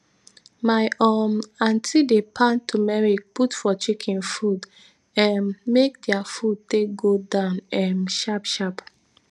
my um aunty dey pound tumeric put for chicken food um make dia food take go down um sharp sharp